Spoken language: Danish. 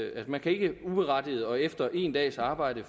at man ikke uberettiget og efter en dags arbejde